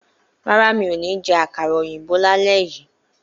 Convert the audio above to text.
Rárá, mi ò ní jẹ àkàrà òyìnbó lálé yìí